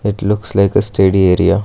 it looks like a study area.